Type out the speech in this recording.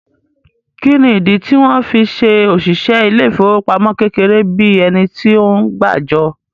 Kí ni ìdí tí wọ́n fí se òṣìṣẹ́ ilé ìfowópamọ́ kékeré bíi ẹni tí ó ń gbàjọ?